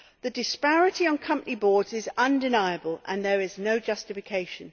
The disparity on company boards is undeniable and there is no justification.